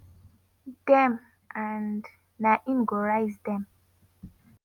dem and na im go raise dem.